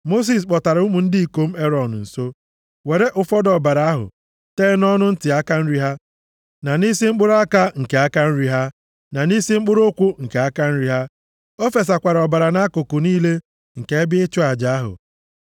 Mosis kpọtara ụmụ ndị ikom Erọn nso, weere ụfọdụ ọbara ahụ tee nʼọnụ ntị aka nri ha, na nʼisi mkpụrụ aka nke aka nri ha, na nʼisi mkpụrụ ụkwụ nke aka nri ha. O fesakwara ọbara nʼakụkụ niile nke ebe ịchụ aja ahụ.